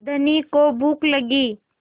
धनी को भूख लगी